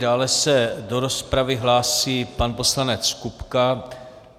Dále se do rozpravy hlásí pan poslanec Kupka.